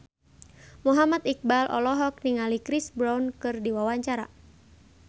Muhammad Iqbal olohok ningali Chris Brown keur diwawancara